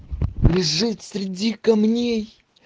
лежит среди камней